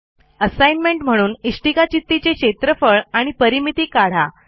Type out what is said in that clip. assignment म्हणून इष्टिकाचित्तीचे क्षेत्रफळ आणि परिमिती काढा